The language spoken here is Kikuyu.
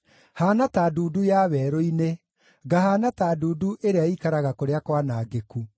Haana ta ndundu ya werũ-inĩ, ngahaana ta ndundu ĩrĩa ĩikaraga kũrĩa kwanangĩku.